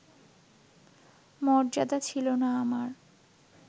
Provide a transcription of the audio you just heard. মর্যাদা ছিলো না আমার